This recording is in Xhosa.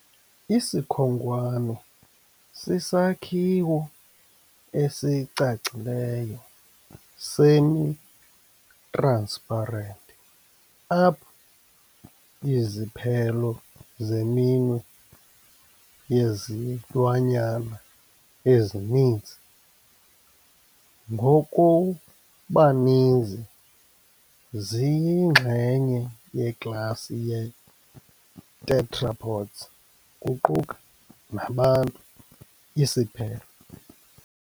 Isikhonkwane sisakhiwo esicacileyo semi-transparent apho iziphelo zeminwe yezilwanyana ezininzi, ngokubaninzi ziyingxenye yeklasi ye - tetrapods, kuquka nabantu, isiphelo.